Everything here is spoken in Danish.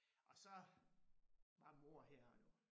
Og så var mor her jo